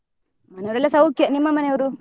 ಮನೆಯವರೆಲ್ಲ ಸೌಖ್ಯ ನಿಮ್ಮ ಮನೆಯವ್ರು?